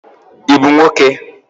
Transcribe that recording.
I bụ nwoke?